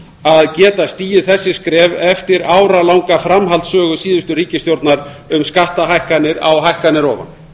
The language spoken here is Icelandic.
að geta stigið þessi skref eftir áralanga framhaldssögu síðustu ríkisstjórnar um skattahækkanir á hækkanir ofan